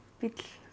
bíll